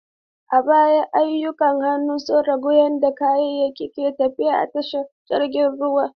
A baya, ayyukan hannu sun rage yadda kayayyaki ke tafiya a tashar jiragen ruwa.